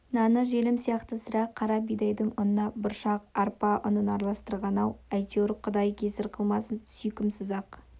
наны желім сияқты сірә қара бидайдың ұнына бұршақ арпа ұнын араластырған-ау әйтеуір құдай кесір қылмасын сүйкімсіз-ақ